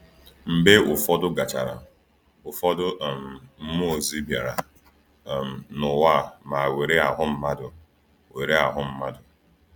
Mgbe ụfọdụ gachara, ụfọdụ um mmụọ ozi bịara um n’ụwa ma were ahụ mmadụ. were ahụ mmadụ.